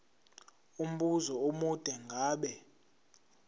umbuzo omude ngabe